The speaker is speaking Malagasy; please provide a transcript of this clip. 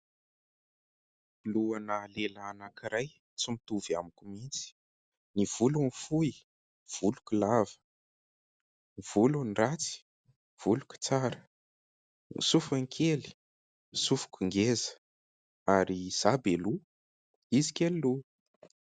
Lohana lehilahy anankiray tsy mitovy amiko mihitsy. Ny volony fohy, ny voloko lava, ny volony ratsy, ny voloko tsara. Ny sofiny kely, ny sofiko ngeza ary izaho be loha izy kely loha.